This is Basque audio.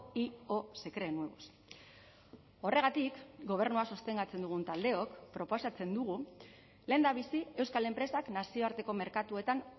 y o se creen nuevos horregatik gobernua sostengatzen dugun taldeok proposatzen dugu lehendabizi euskal enpresak nazioarteko merkatuetan